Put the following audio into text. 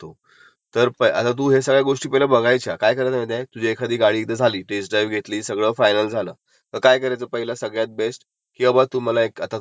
त्यानंतर मग ह्यात नंतर बघायचं की ह्याने काय काय चार्जेस लावलेत, एस्क showroom okay, insurance okay, RTO okay extended warranty ....okay